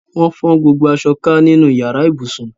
Wọ́n fọ́n gbogbo aṣọ ká nínú yàrá ibùsùn.